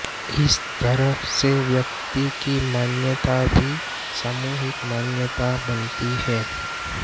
इस तरह से व्यक्ति की मान्यताएं भी सामूहिक मान्यताएं बनती हैं